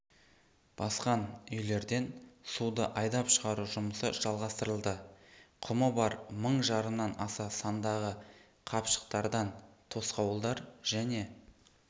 басқан үйлерден суды айдап шығару жұмысы жалғастырылды құмы бар мың жарымнан аса сандағы қапшықтардан тосқауылдар және